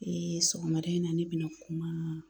sɔgɔmada in na ne bɛna kuma